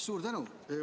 Suur tänu!